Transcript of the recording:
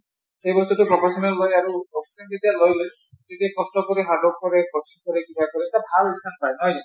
সেই বস্তুটো professional লয় আৰু বস্তুটো যেতিয়া লৈ লয় তেতিয়া কষ্ট কৰে hard work কৰে কষ্ট কৰে কিবা কৰে , এটা ভাল result পায় হয় নে নাই।